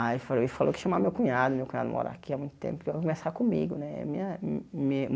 Aí e falou que ia chamar meu cunhado, meu cunhado mora aqui há muito tempo, para conversar comigo, né? me a me